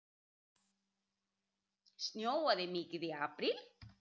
Snjóaði mikið í apríl?